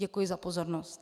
Děkuji za pozornost. .